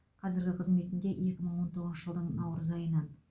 қазіргі қызметінде екі мың он тоғызыншы жылдың наурыз айынан